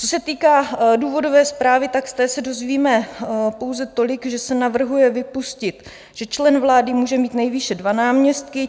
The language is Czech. Co se týká důvodové zprávy, z té se dozvíme pouze tolik, že se navrhuje vypustit, že člen vlády může mít nejvýše dva náměstky.